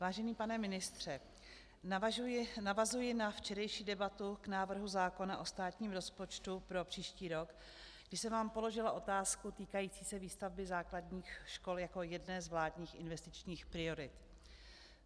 Vážený pane ministře, navazuji na včerejší debatu k návrhu zákona o státním rozpočtu pro příští rok, kdy jsem vám položila otázku týkající se výstavby základních škol jako jedné z vládních investičních priorit.